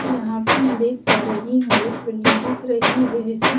यहां पे मैं देख पा रही हूं एक बिल्डिंग दिख रही है जिसमें--